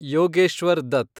Yogeshwar Dutt